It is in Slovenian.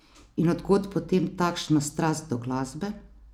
In od kod potem takšna strast do glasbe?